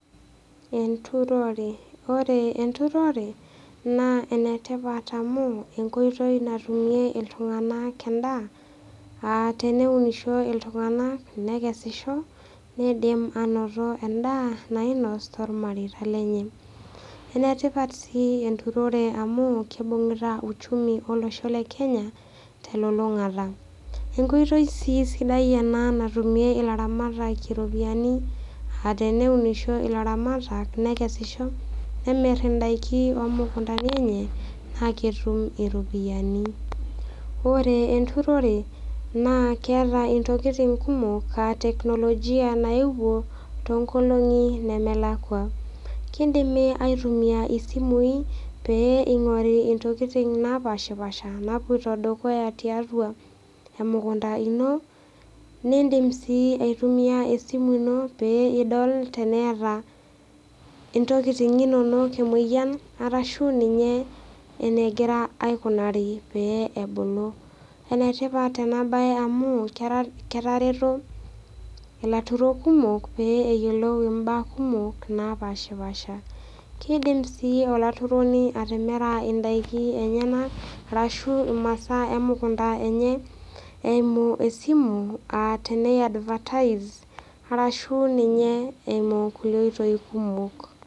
Enturore, ore enturore naa enetipat amu enkoitoi natumie iltung'ana endaa aa teneunisho iltung'ana nekesisho neidim ainoto endaa nainos tolmareita lenye. Enetipat sii enturore amu keibung'ita uchumi olosho le Kenya telulung'ata. Enkoitoi sii sidai ena natumie ilaramatak iropiani a teneunisho ilaramatak nekesisho nemir indaiki omukundani enye naa ketum iropiani. Ore enturore naa keata intokitin kumok a teknolojia naewuo toonkolong'i nemelakwa. Keidimi aitumia isimui peing'ori intokitin napaashipaasha nawuoita dukuya tiatua emukunda ino niindim sii aitumia esimu ino pee idol teneata intokitin inono emoyian arashu ninye eneigira aikunaari pee ebulu. Enetipat ena bae amu ketareto ilaturok kumok pee eyiolou imbaa kumok naapaashipaasha. Keidim sii olaturoni atimira indaiki enyena arashu imasaa emukunda enye eimu esimu enye tene eadvatise arashu nine eimu kulie oitoi kumok.